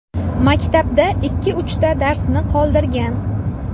Maktabda ikki-uchta darsni qoldirgan.